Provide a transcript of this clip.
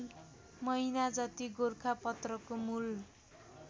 महिनाजति गोरखापत्रको मूल